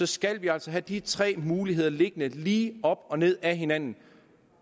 skal vi altså have de tre muligheder liggende lige op og ned ad hinanden